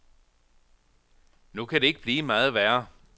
Nu kan det ikke blive meget værre.